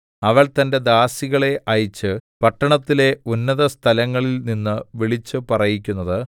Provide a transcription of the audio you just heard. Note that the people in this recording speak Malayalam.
അവൾ തന്റെ ദാസികളെ അയച്ച് പട്ടണത്തിലെ ഉന്നതസ്ഥലങ്ങളിൽ നിന്ന് വിളിച്ച് പറയിക്കുന്നത്